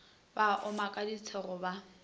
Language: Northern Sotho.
ba oma ka disego ba